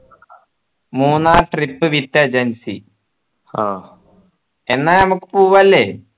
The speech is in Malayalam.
മൂന്നാർ trip with agency ആ എന്ന നമ്മുക്ക് പോവാ അല്ലെ